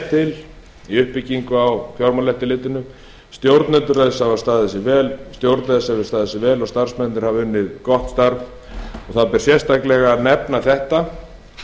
til í uppbyggingu á fjármálaeftirlitinu stjórn þess hefur staðið sig vel og starfsmennirnir hafa unnið gott starf og það ber sérstaklega að nefna þetta